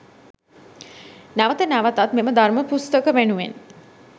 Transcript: නැවත නැවතත් මෙම ධර්ම පුස්තක වෙනුවෙන්